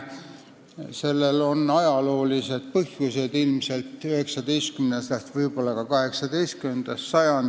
Sellel on ajaloolised põhjused, ilmselt 19. sajandist, aga võib-olla ka 18. sajandist.